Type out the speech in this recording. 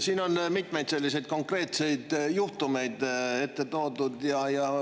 Siin on mitmeid konkreetseid juhtumeid esile toodud.